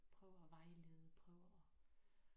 Prøver at vejlede prøver at